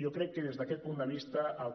jo crec que des d’aquest punt de vista el